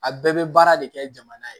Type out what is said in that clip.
A bɛɛ bɛ baara de kɛ jamana ye